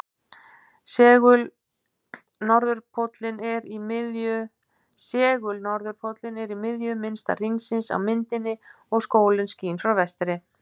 Segul-norðurpóllinn er í miðju minnsta hringsins á myndinni og sólin skín frá vinstri.